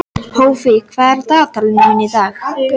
Hófí, hvað er á dagatalinu mínu í dag?